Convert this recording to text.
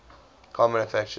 car manufacturers